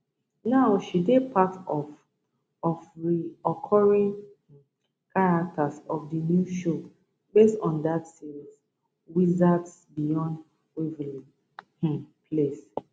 now she dey part of of reoccuring um characters for di new show based on dat series wizards beyond waverly um place